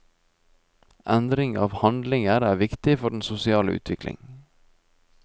Endring av handlinger er viktig for den sosiale utviklingen.